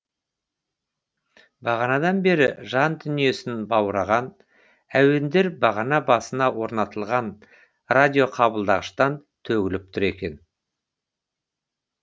бағанадан бері жан дүниесін баураған әуендер бағана басына орнатылған радиоқабылдағыштан төгіліп тұр екен